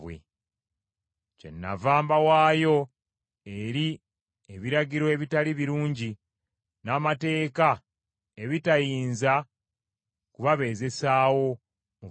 Kyennava mbawaayo eri ebiragiro ebitali birungi n’amateeka ebitayinza kubabeezesaawo mu bulamu;